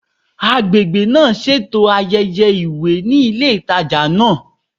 Agbègbè náà ṣètò ayẹyẹ ìwé ní ilé ìtajà náà